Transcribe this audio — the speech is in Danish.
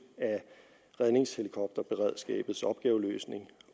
af redningshelikopterberedskabets opgaveløsning